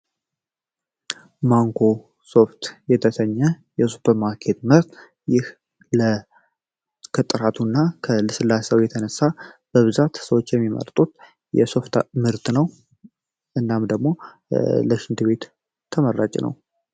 ኮምፒተሪ አገሩ እንደማከማቸው አገልጋይ እና ሶፍትዌሮች በኢንተርኔት አማካኝነት የሚያቀርቡ ቴክኖሎጂ ነው ተጠቃሚዎችና ኩባንያዎች የራሳቸውን አካላዊ መሰረተ ልማት ሳይነቡ በቀላሉ መረጃዎች ማግኘት ይችላሉ